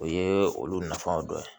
O ye olu nafanw dɔ ye